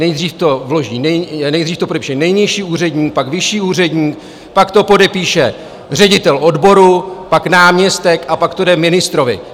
Nejdřív to podepíše nejnižší úředník, pak vyšší úředník, pak to podepíše ředitel odboru, pak náměstek a pak to jde ministrovi.